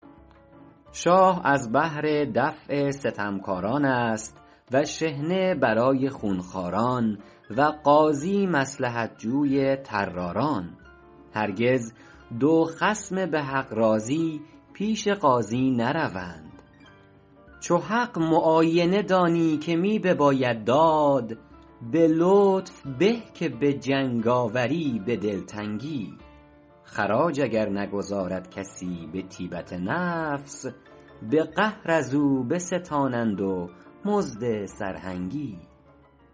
شاه از بهر دفع ستمکاران است و شحنه برای خونخواران و قاضی مصلحت جوی طراران هرگز دو خصم به حق راضی پیش قاضی نروند چو حق معاینه دانی که می بباید داد به لطف به که به جنگاوری به دلتنگی خراج اگر نگزارد کسی به طیبت نفس به قهر از او بستانند و مزد سرهنگی